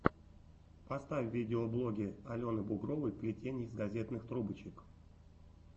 поставь видеоблоги алены бугровой плетение из газетных трубочек